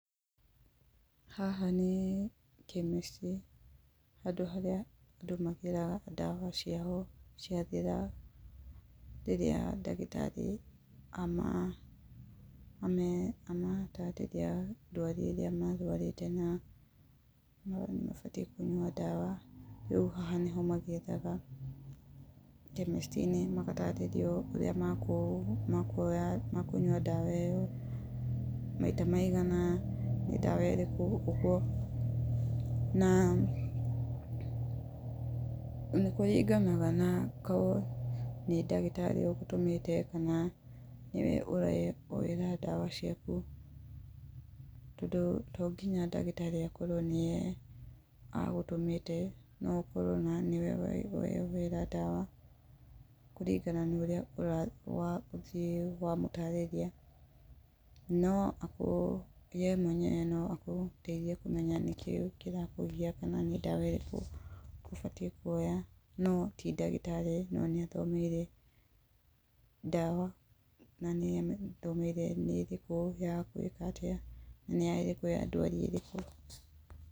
Haha nĩ chemist. Handũ harĩa andũ magĩraga ndawa ciao ciathira, rĩrĩa ndagĩtarĩ amatarĩria ndwari ĩrĩa marwarĩte na nĩmarabatara kũnyua ndawa. Rĩu haha nĩho magĩraga chemist -inĩ. Rĩũ magatarĩrio ũrĩa mekũnyua ndawa ĩyo, maita maigana, nĩ ndawa ĩrĩkũ, ũguo. Na nĩkũringanaga na korwo nĩ ndagĩtarĩ ũrĩa ũgũtũmĩte kana nĩwe ũreyoera ndawa ciaku, tondũ tonginya ndagĩtarĩ akorwo nĩwe agũtũmĩte, noakorwo nĩwe weyoera ndawa kũringana na ũrĩa wathiĩ wamũtarĩria. No we mwenyewe noagũteithie kũmenya nĩkĩĩ kĩrakũgia, kana nĩ ndawa ĩrĩkũ ũbatiĩ kuoya, no tindagĩtarĩ no nĩathomeire ndawa, na nĩ athomeire ndawa nĩ ĩrĩkũ yagũĩka atĩa, nĩ ĩrĩkũ ya ndwari ĩrĩkũ.